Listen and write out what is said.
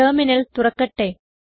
terminal തുറക്കട്ടെ